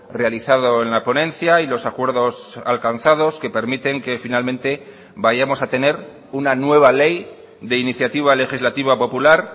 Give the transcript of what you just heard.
realizado en la ponencia y los acuerdos alcanzados que permiten que finalmente vayamos a tener una nueva ley de iniciativa legislativa popular